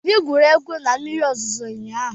Obi gwuru egwu na mmiri ozuzo ụnyaahụ.